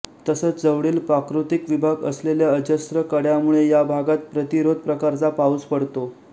तसच जवळील प्राकृतिक विभाग असलेल्या अजस्त्र कडयामुळे या भागात प्रतिरोध प्रकारचा पाऊस पडतो